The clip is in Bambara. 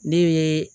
Ne ye